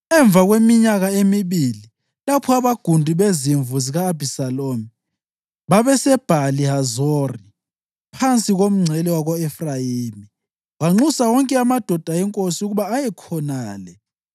Emva kweminyaka emibili, lapho abagundi bezimvu zika-Abhisalomu babeseBhali Hazori phansi komngcele wako-Efrayimi, wanxusa wonke amadodana enkosi ukuba aye khonale.